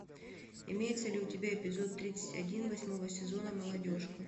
имеется ли у тебя эпизод тридцать один восьмого сезона молодежка